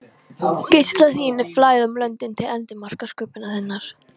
Geislar þínir flæða um löndin til endimarka sköpunar þinnar.